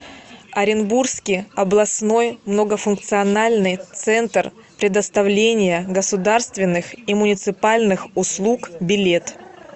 оренбургский областной многофункциональный центр предоставления государственных и муниципальных услуг билет